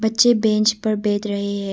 बच्चे बेंच पर बैठ रहे हैं।